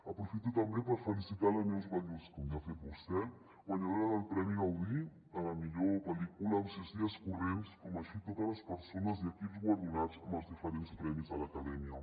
aprofito també per felicitar la neus ballús com ja ha fet vostè guanyadora del premi gaudí a la millor pel·lícula amb sis dies corrents així com a totes les perso·nes i equips guardonats amb els diferents premis de l’acadèmia